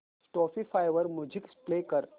Spotify वर music play कर